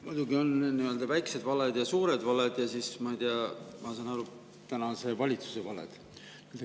Muidugi on väikesed valed ja suured valed, ja siis, ma ei tea, ma saan aru, et tänase valitsuse valed.